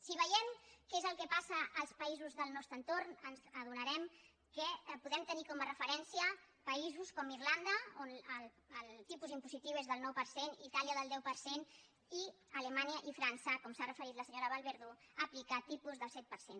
si veiem que és el que passa als països del nostre entorn ens adonarem que podem tenir com a referència països com irlanda on el tipus impositiu és del nou per cent itàlia del deu per cent i alemanya i frança que com ha referit la senyora vallverdú aplica tipus del set per cent